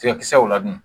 Tigakisɛw ladon